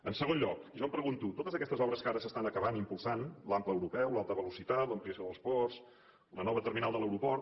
en segon lloc i jo em pregunto totes aquestes obres que ara s’estan acabant impulsant l’ample europeu l’alta velocitat l’ampliació dels ports la nova terminal de l’aeroport